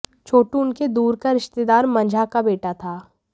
छोटू उनके दूर का रिश्तेदार मंझा का बेटा था